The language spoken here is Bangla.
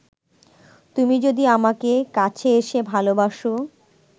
তুমি যদি আমাকে কাছে এসে ভালোবাসো